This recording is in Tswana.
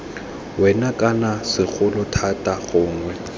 wena kana segolo thata gongwe